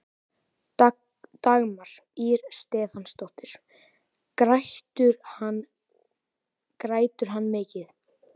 Dagmar Ýr Stefánsdóttir: Grætur hann mikið?